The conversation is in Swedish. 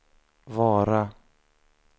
Vara